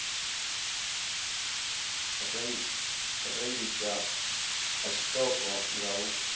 rengiswa ha tshiṱoko nga u